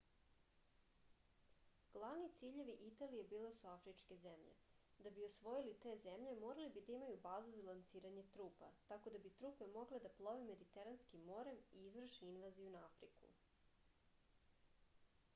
glavni ciljevi italije bile su afričke zemlje da bi osvojili te zemlje morali bi da imaju bazu za lansiranje trupa tako da bi trupe mogle da plove mediteranskim morem i izvrše invaziju na afriku